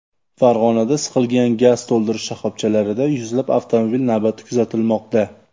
Farg‘onada siqilgan gaz to‘ldirish shoxobchalarida yuzlab avtomobil navbati kuzatilmoqda .